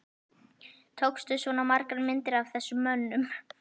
Tókstu svona margar myndir af þessum mönnum?